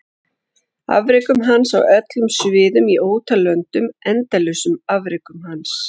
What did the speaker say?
Afrekum hans á öllum sviðum í ótal löndum endalausum afrekum hans?